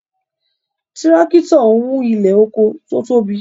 Tírákítọ̀ ń wú ilẹ̀ oko tó tóbi